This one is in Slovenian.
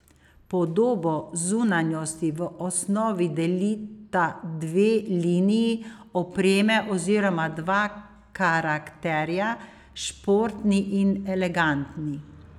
Podobo zunanjosti v osnovi delita dve liniji opreme oziroma dva karakterja, športni in elegantni.